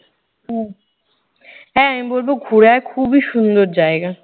হ্যাঁ, আমি বলবো ঘুরে আয় খুবই সুন্দর জায়গা।